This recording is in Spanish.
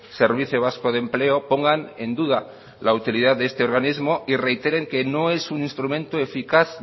servicio vasco de empleo pongan en duda la utilidad de este organismo y reiteren que no es un instrumento eficaz